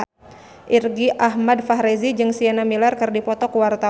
Irgi Ahmad Fahrezi jeung Sienna Miller keur dipoto ku wartawan